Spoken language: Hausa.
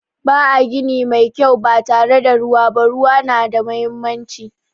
Ba a gini mai kyau ba tare da ruwa ba. Ruwa na muhimmanci.